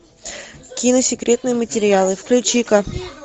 кино секретные материалы включи ка